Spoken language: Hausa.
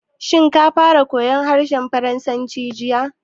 Shin ka fara koyan harshen Faransanci jiya?